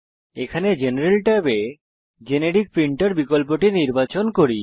এখানে আমরা জেনারেল ট্যাবে জেনেরিক প্রিন্টের বিকল্পটি নির্বাচন করি